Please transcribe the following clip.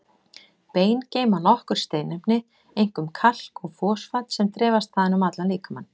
Bein geyma nokkur steinefni, einkum kalk og fosfat, sem dreifast þaðan um allan líkamann.